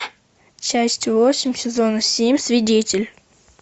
часть восемь сезона семь свидетель